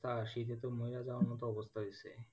আহ শীতে তো মরে যাওয়ার মতো অবস্থা হয়েছে,